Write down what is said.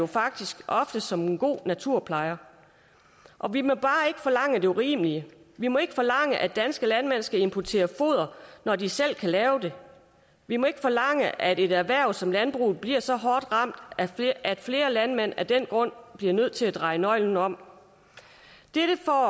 faktisk ofte som en god naturplejer og vi må bare ikke forlange det urimelige vi må ikke forlange at danske landmænd skal importere foder når de selv kan lave det vi må ikke forlange at et erhverv som landbruget bliver så hårdt ramt at flere landmænd af den grund bliver nødt til at dreje nøglen om dette får